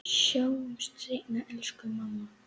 Sjáumst seinna, elsku mamma.